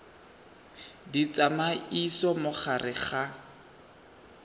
di tsamaisa mo gare ga